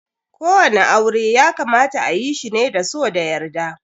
Ko wani aure ya kamata ayi shi ne da so da yarda.